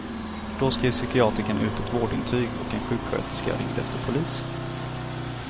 Då skrev psykiatrikern ut ett vårdintyg och en sjuksköterska ringde efter polis.